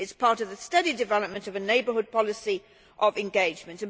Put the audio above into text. It is part of the steady development of a neighbourhood policy of engagement.